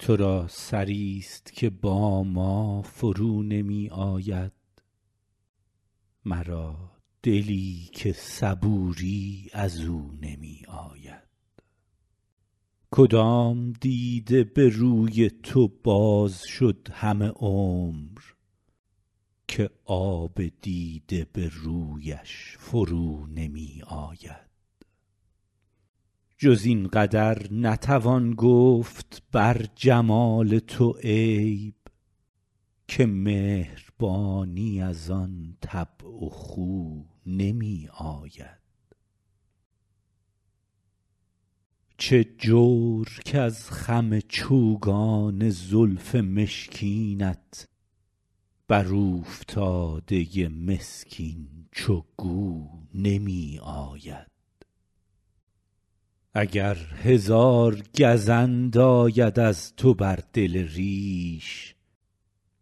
تو را سری ست که با ما فرو نمی آید مرا دلی که صبوری از او نمی آید کدام دیده به روی تو باز شد همه عمر که آب دیده به رویش فرو نمی آید جز این قدر نتوان گفت بر جمال تو عیب که مهربانی از آن طبع و خو نمی آید چه جور کز خم چوگان زلف مشکینت بر اوفتاده مسکین چو گو نمی آید اگر هزار گزند آید از تو بر دل ریش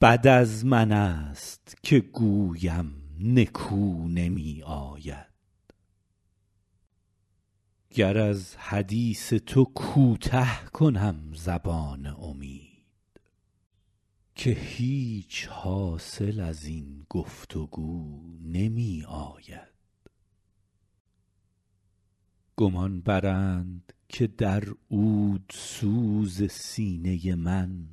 بد از من ست که گویم نکو نمی آید گر از حدیث تو کوته کنم زبان امید که هیچ حاصل از این گفت وگو نمی آید گمان برند که در عودسوز سینه من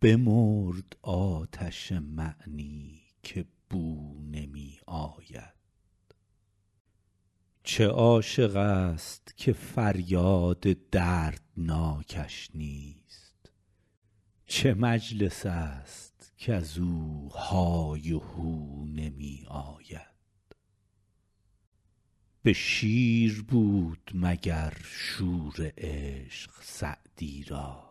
بمرد آتش معنی که بو نمی آید چه عاشق ست که فریاد دردناکش نیست چه مجلس ست کز او های و هو نمی آید به شیر بود مگر شور عشق سعدی را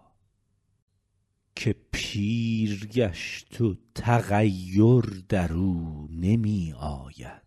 که پیر گشت و تغیر در او نمی آید